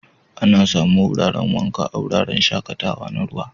Ana samu wuraren wanka a wuraren shaƙatawa na ruwa.